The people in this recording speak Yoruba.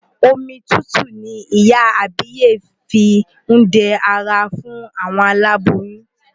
Omi tútù ni ìyá àbíyè fí ń dẹ ara fún aláboyún.